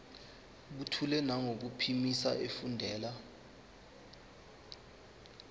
buthule nangokuphimisa efundela